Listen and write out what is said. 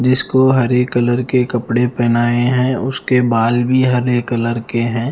जिसको हरे कलर के कपड़े पहनाए है उसके बाल भी हरे कलर के हैं।